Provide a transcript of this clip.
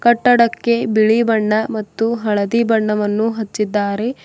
ಕಟ್ಟಡಕ್ಕೆ ಬಿಳಿ ಬಣ್ಣ ಮತ್ತು ಹಳದಿ ಬಣ್ಣವನ್ನು ಹಚ್ಚಿದ್ದಾರೆ.